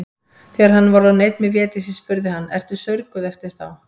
Þegar hann var orðinn einn með Védísi spurði hann:-Ertu saurguð eftir þá.